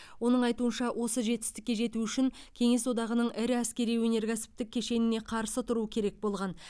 оның айтуынша осы жетістікке жету үшін кеңес одағының ірі әскери өнеркәсіптік кешеніне қарсы тұру керек болған